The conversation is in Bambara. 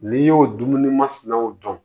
N'i y'o dumuni masinaw dɔn